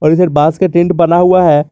इधर बॉस का टेंट बना हुआ है।